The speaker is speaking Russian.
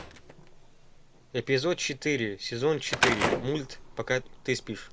эпизод четыре сезон четыре мульт пока ты спишь